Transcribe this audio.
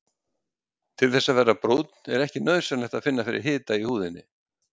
Til þess að verða brúnn er ekki nauðsynlegt að finna fyrir hita í húðinni.